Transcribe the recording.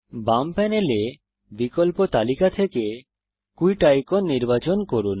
বাম প্যানেলে বিকল্প তালিকা থেকে কুইট আইকন নির্বাচন করুন